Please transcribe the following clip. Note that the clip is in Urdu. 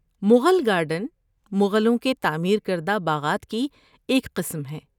مغل گارڈن مغلوں کے تعمیر کردہ باغات کی ایک قسم ہیں۔